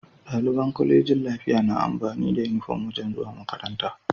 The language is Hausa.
Daliban colejin lafiya na amfani da inufom wajan zuwa makaranta